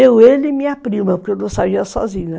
Eu, ele e minha prima, porque eu não saía sozinha.